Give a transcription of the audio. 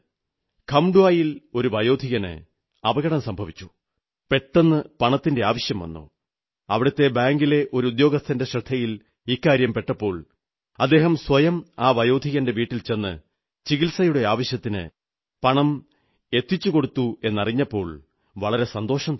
ഖംഡ്വാ യിൽ ഒരു വയോധികന് അപകടം സംഭവിച്ചു പെട്ടെന്ന് പണത്തിന്റെ അത്യാവശ്യം വന്നു അവിടത്തെ ബാങ്കിലെ ഒരു ഉദ്യോഗസ്ഥന്റെ ശ്രദ്ധയിൽ പെട്ടപ്പോൾ അദ്ദേഹം സ്വയം ആ വയോധികന്റെ വീട്ടിൽ ചെന്ന് ചികിത്സയുടെ ആവശ്യത്തിന് പണം എത്തിച്ചുകൊടുത്തുവെന്ന് അറിഞ്ഞപ്പോൾ വളരെ സന്തോഷം തോന്നി